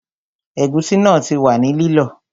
Ẹ̀gúsí náà ti wà ní lílọ